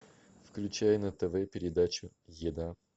включай на тв передачу еда